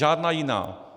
Žádná jiná.